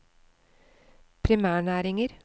primærnæringer